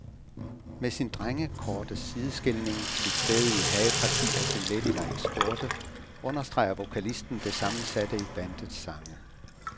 Med sin drengekorte sideskilning, sit stædige hageparti og sin ladylike skjorte understreger vokalisten det sammensatte i bandets sange.